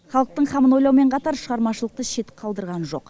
халықтың қамын ойлаумен қатар шығармашылықты шет қалдырған жоқ